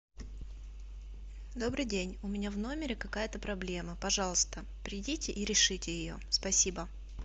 добрый день у меня в номере какая то проблема пожалуйста придите и решите ее спасибо